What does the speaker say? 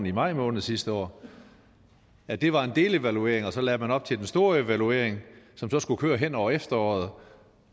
i maj måned sidste år at det var en delevaluering og så lagde man op til den store evaluering som så skulle køre hen over efteråret